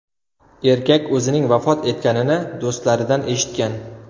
Erkak o‘zining vafot etganini do‘stlaridan eshitgan.